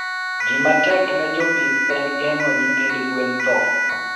Gima tek ne jopith en geng'o nyithind gwen thoo.